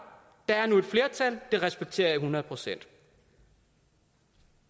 der er nu et flertal det respekterer jeg hundrede procent